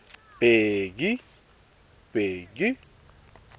bheki